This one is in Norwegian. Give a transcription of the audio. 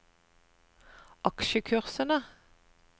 aksjekursene